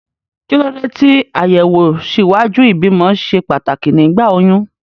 Kí ló dé tí àyẹ̀wò ṣíwájú ìbímọ ṣe pàtàkì nígbà oyún?